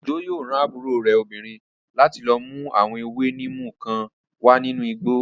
Òjó yóò rán àbúrò rẹ̀ obìnrin láti lọ mú àwọn ewé níìmù kan wá nínú igbó